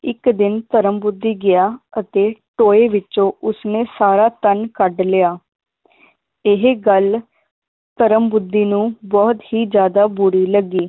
ਇੱਕ ਦਿਨ ਧਰਮ ਬੁੱਧੀ ਗਿਆ ਅਤੇ ਟੋਏ ਵਿੱਚੋਂ ਉਸਨੇ ਸਾਰਾ ਧਨ ਕੱਢ ਲਿਆ ਇਹ ਗੱਲ ਧਰਮ ਬੁੱਧੀ ਨੂੰ ਬਹੁਤ ਹੀ ਜ਼ਿਆਦਾ ਬੁਰੀ ਲੱਗੀ